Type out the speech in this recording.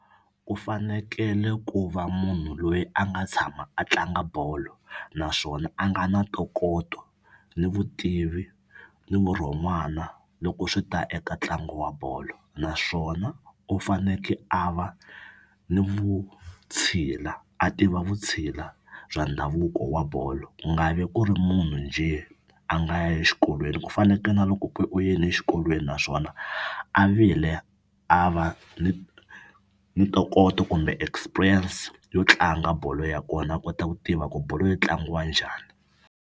U fanekele ku va munhu loyi a nga tshama a tlanga bolo naswona a nga na ntokoto ni vutivi ni vurhon'wana loko swi ta eka ntlangu wa bolo naswona u fanekele a va ni vutshila a tiva vutshila bya ndhavuko wa bolo. Ku nga vi ku ri munhu njhe a nga ya exikolweni ku fanekele na loko ku u yeni exikolweni naswona a vile a va ni ntokoto kumbe experience yo tlanga bolo ya kona a kota ku tiva ku bolo yi tlangiwa njhani.